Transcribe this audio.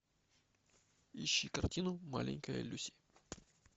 ищи картину маленькая люси